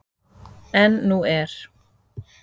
En nú er.